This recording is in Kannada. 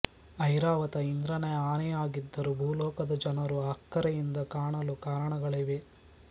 ಐರಾವತ ಇಂದ್ರನ ಆನೆಯಾಗಿದ್ದರೂ ಭೂಲೋಕದ ಜನರು ಅಕ್ಕರೆಯಿಂದ ಕಾಣಲು ಕಾರಣಗಳಿವೆ